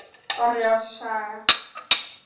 Orri og Saga.